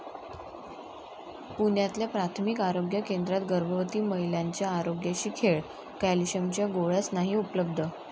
पुण्यातल्या प्राथमिक आरोग्य केंद्रात गर्भवती महिल्यांच्या आरोग्याशी खेळ, कॅल्शिअमच्या गोळ्याच नाही उपलब्ध!